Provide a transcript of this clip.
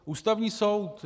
Ústavní soud.